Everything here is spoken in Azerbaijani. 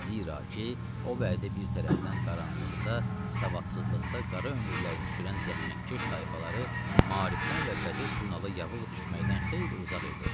Zira ki, o vədə bir tərəfdən qaranlıqda, savadsızlıqda qara ömürlərini sürən zəhmətkeş tayfaları maarifdən və qazet jurnalı yavıq düşməkdən xeyli uzaq idi.